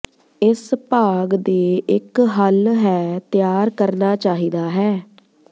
ਇਸ ਭਾਗ ਦੇ ਇੱਕ ਹੱਲ ਹੈ ਤਿਆਰ ਕਰਨਾ ਚਾਹੀਦਾ ਹੈ